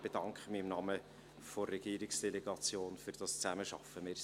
Ich bedanke mich im Namen der Regierungsdelegation für diese Zusammenarbeit.